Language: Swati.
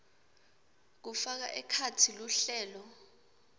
kufaka ekhatsi luhlelo